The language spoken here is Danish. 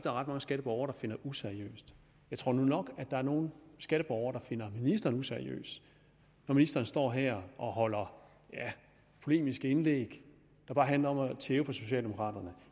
er ret mange skatteborgere der finder useriøst jeg tror nu nok at der er nogle skatteborgere der finder ministeren useriøs når ministeren står her og holder polemiske indlæg der bare handler om at tæve på socialdemokraterne